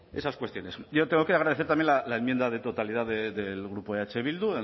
esas cuestiones yo tengo que agradecer también la enmienda de totalidad del grupo eh bildu